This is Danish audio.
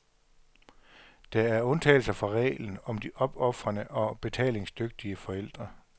Der er undtagelser fra reglen om de opofrende, og betalingsdygtige, forældre.